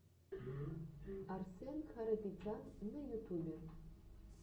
арсэн харапетян на ютубе